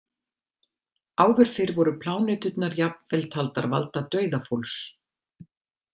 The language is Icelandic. Áður fyrr voru pláneturnar jafnvel taldar valda dauða fólks.